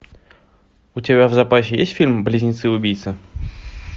у тебя в запасе есть фильм близнецы убийцы